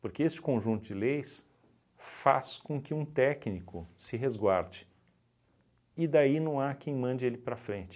Porque esse conjunto de leis faz com que um técnico se resguarde e daí não há quem mande ele para frente.